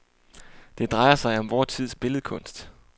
Det drejer sig om vor tids billedkunst.